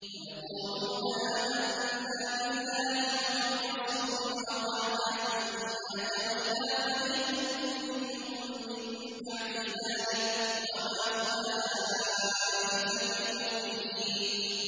وَيَقُولُونَ آمَنَّا بِاللَّهِ وَبِالرَّسُولِ وَأَطَعْنَا ثُمَّ يَتَوَلَّىٰ فَرِيقٌ مِّنْهُم مِّن بَعْدِ ذَٰلِكَ ۚ وَمَا أُولَٰئِكَ بِالْمُؤْمِنِينَ